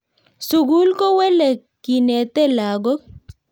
Sukul ko wele kinetee lakook.